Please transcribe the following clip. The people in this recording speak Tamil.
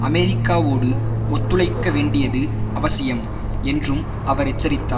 அமெரிக்காவோடு ஒத்துழைக்க வேண்டியது அவசியம் என்றும் அவர் எச்சரித்தார்